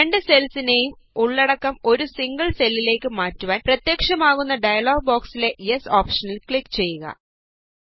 രണ്ടു സെല്ലിലേയും ഉള്ളടക്കം ഒരു സിംഗിള് സെല്ലിലേക്ക് മാറ്റുവാന് പ്രത്യക്ഷമാകുന്ന ഡയലോഗ് ബോക്സിലെ യെസ് ഓപഷനില് ക്ലിക് ചെയ്യുക